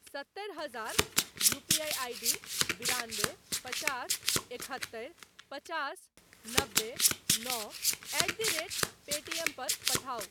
सत्तरि हजार UPI ID बिरानबे पचास एकहत्तरि पचास नबे नओ एट द रेट पेटीएम पर पठाउ।